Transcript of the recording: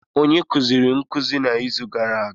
Onye kuziri nkuzi n'izu gara aga?